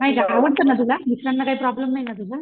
हाय का आवडतं ना तुला मिस्टरांना काही प्रॉब्लम नाही ना तुझ्या?